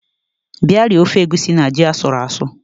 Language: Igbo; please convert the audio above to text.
Bia rie ofe egusi na ji asuru asụ